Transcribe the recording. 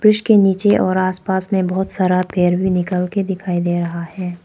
Bridge के नीचे और आस पास में बहोत सारा पेड़ भी निकल के दिखाई दे रहा है।